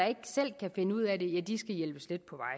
ikke selv kan finde ud af det ja de skal hjælpes lidt på